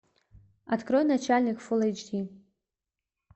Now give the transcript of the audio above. открой начальник фул эйч ди